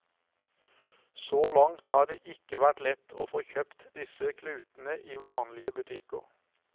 Så langt har det ikke vært lett å få kjøpt disse klutene i vanlige butikker.